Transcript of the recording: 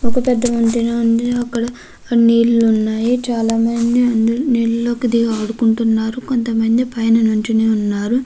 ఒక పెద్ద వంతెన ఉంది. అందులో నీళ్లు ఉన్నాయి. అందులో చాలామంది దిగి నీళ్లతో ఆడుకుంటున్నారు కొంతమంది పైన నిల్చునే ఉన్నారు.